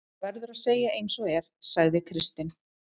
Það verður að segja eins og er, sagði Kristinn.